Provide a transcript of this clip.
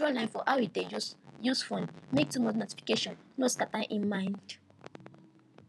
he draw line for how he dey use use phone make too much notification no scatter him mind